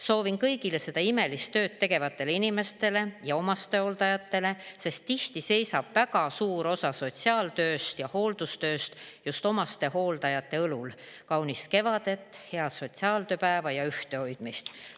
Soovin kõigile seda imelist tööd tegevatele inimestele ja omastehooldajatele – sest tihti seisab väga suur osa sotsiaaltööst ja hooldustööst just omastehooldajate õlul – kaunist kevadet, head sotsiaaltööpäeva ja ühtehoidmist.